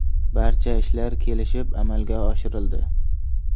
Barcha ishlar kelishib amalga oshirildi.